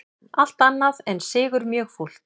Allt annað en sigur mjög fúlt